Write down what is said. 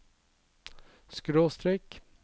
skråstrek